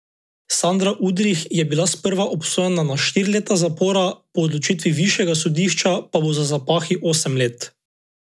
Sandra Udrih je bila sprva obsojena na štiri leta zapora, po odločitvi višjega sodišča pa bo za zapahi osem let.